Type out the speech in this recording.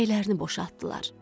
Ürəklərini boşaltdılar.